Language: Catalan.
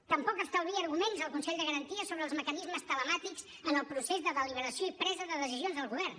tampoc estalvia arguments el consell de garanties sobre els mecanismes telemàtics en el procés de deliberació i presa de decisions al govern